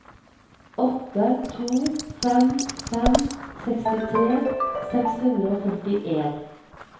åtte to fem fem sekstitre seks hundre og førtien